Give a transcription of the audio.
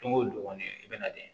Don o don kɔni i bɛ na de